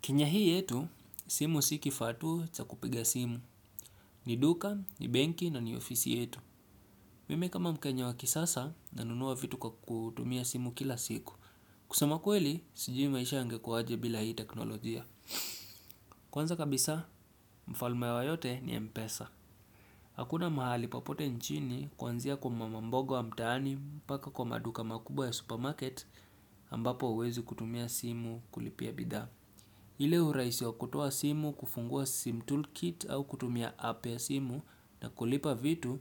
Kenya hii yetu, simu si kifaa tu cha kupiga simu. Ni duka, ni benki na ni ofisi yetu. Mimi kama mkenya wa kisasa, nanunua vitu kwa kutumia simu kila siku. Kusema kweli, sijui maisha yangekuwaje bila hii teknolojia. Kwanza kabisa, mfalme wa yote ni M-Pesa. Hakuna mahali popote nchini kuanzia kwa mama mboga wa mtaani mpaka kwa maduka makubwa ya supermarket ambapo hauwezi kutumia simu kulipia bidhaa. Ile uraisi wa kutoa simu kufungua sim toolkit au kutumia app ya simu na kulipa vitu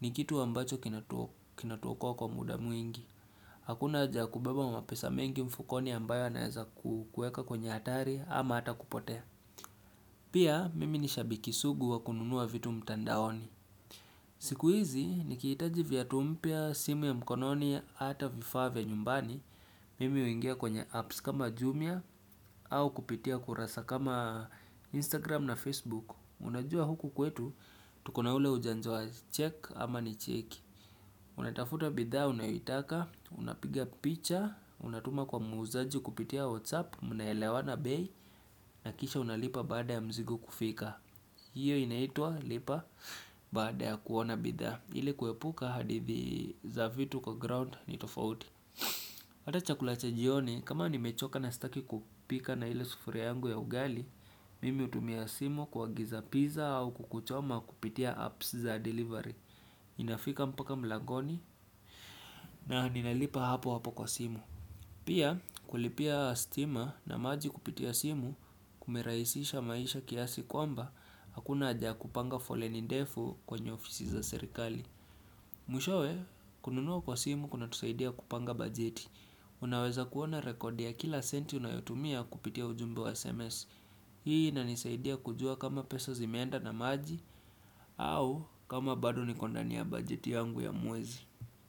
ni kitu ambacho kinatuokoa kwa muda mwingi. Hakuna haja ya kubeba pesa mingi mfukoni ambayo inaweza kukuweka kwenye hatari ama ata kupotea. Pia mimi nishabiki sugu wa kununua vitu mtandaoni. Siku hizi ni nikihitaji viatu mpya, simu ya mkononi ata vifavya nyumbani, mimi huingia kwenye apps kama Jumia au kupitia kurasa kama Instagram na Facebook. Unajua huku kwetu, tuko na ule ujanja wa check ama ni checki. Unatafuta bidhaa unaitaka, unapiga picha, unatuma kwa muuzaji kupitia WhatsApp, mnaelewana bei, na kisha unalipa baada ya mzigo kufika. Hiyo inaitwa lipa baada ya kuona bidhaa, ili kuepuka hadithi za vitu kwa ground ni tofauti. Hata chakula cha jioni kama ni mechoka na sitaki kupika na ile sufuria yangu ya ugali, mimi hutumia simu kuagiza pizza au kuku choma kupitia apps za delivery. Inafika mpaka mlangoni na ninalipa hapo hapo kwa simu. Pia kulipia stima na maji kupitia simu kumerahisisha maisha kiasi kwamba hakuna haja ya kupanga foleni ndefu kwenye ofisi za serikali. Mwishowe, kununua kwa simu kunatusaidia kupanga bajeti. Unaweza kuona rekodi ya kila senti unayotumia kupitia ujumbo wa SMS. Hii inanisaidia kujua kama pesa zimeenda na maji au kama bado niko ndani ya bajeti yangu ya mwezi.